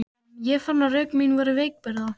Ég fann að rök mín voru veikburða.